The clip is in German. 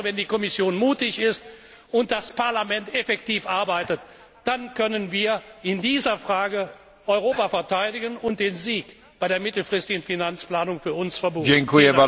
Wenn also die Kommission mutig ist und das Parlament effektiv arbeitet, dann können wir in dieser Frage Europa verteidigen und den Sieg bei der mittelfristigen Finanzplanung für uns verbuchen.